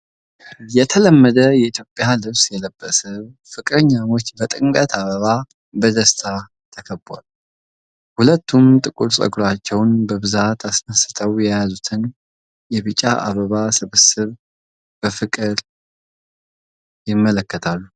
የተለመደ የኢትዮጵያ ልብስ የለበሰ ፍቅረኛሞች በጥምቀት አበባ በደስታ ተከበዋል። ሁለቱም ጥቁር ፀጉራቸውን በብዛት አስነስተው የያዙትን የቢጫ አበባ ስብስብ በፍቅር ይመለከታሉ።